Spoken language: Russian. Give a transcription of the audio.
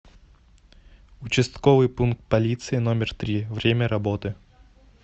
участковый пункт полиции номер три время работы